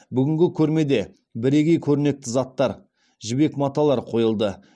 бүгінгі көрмеде бірегей көрнекті заттар жібек маталар қойылды